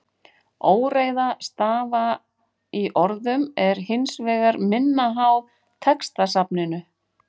Óreiða stafa í orðum er hins vegar minna háð textasafninu.